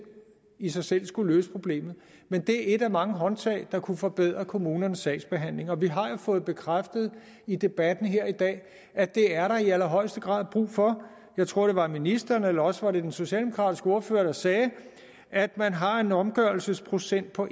i sig selv skulle løse problemet men det er et af mange håndtag der kunne forbedre kommunernes sagsbehandling og vi har jo fået bekræftet i debatten her i dag at det er der i allerhøjeste grad brug for jeg tror det var ministeren eller også var det den socialdemokratiske ordfører der sagde at man har en omgørelsesprocent på